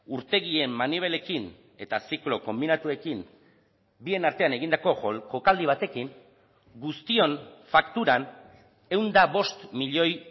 urtegien manibelekin eta ziklo konbinatuekin bien artean egindako jokaldi batekin guztion fakturan ehun eta bost milioi